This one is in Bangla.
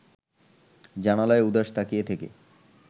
জানালায় উদাস তাকিয়ে থেকে